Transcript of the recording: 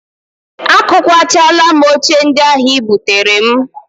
Akụkwachaala m oche ndị ahụ ị buteere m